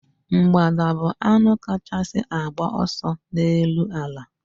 Mgbada bu anụ kachasị agba ọsọ n'elu ala